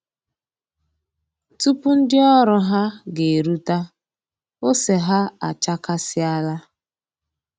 Tupu ndị ọrụ ha ga-eruta, ose ha achakasịala